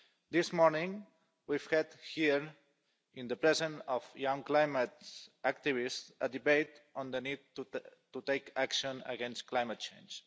This morning, we've heard here in the presence of young climate activists a debate on the need to take action against climate change.